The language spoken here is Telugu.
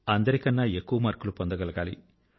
అందరికన్నా ఎక్కువ మార్కులు పొందగలగాలి